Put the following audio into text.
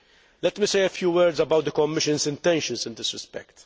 Let me say a few words about the Commission's intentions in this respect.